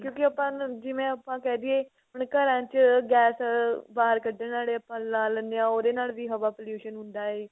ਕਿਉਂਕੀ ਆਪਾਂ ਜਿਵੇਂ ਆਪਾ ਕਹਿ ਦੀਏ ਆਪਣੇ ਘਰਾਂ ਚ ਗੈਸ ਬਾਹਰ ਕੱਢਨ ਆਲੇ ਆਪਾਂ ਲਾ ਲੀਨੇ ਆਂ ਉਹਦੇ ਨਾਲ ਵੀ ਹਵਾ pollution ਹੁੰਦਾ ਏ